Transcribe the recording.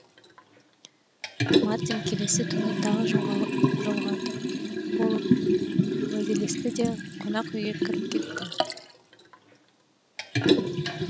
мартин келесі күні тағы жолығатын болып уәделесті де қонақ үйге кіріп кетті